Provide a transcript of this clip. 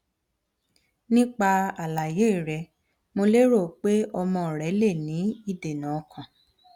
nipa alaye re mo lero pe omo re le ni idena okan